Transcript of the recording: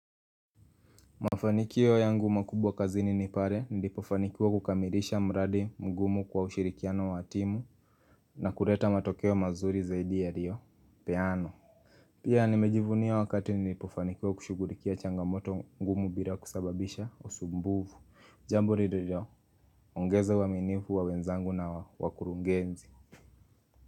Mafanikio yangu makubwa kazini nipare nilipofanikiwa kukamirisha mradi mgumu kwa ushirikiano wa timu na kureta matokeo mazuri zaidi ya riyopeanwa Pia nimejivuniya wakati nilipofanikiwa kushughulikia changamoto ngumu bila kusababisha usumbufu jambo lililo ongeza uaminifu wa wenzangu na wakurungenzi.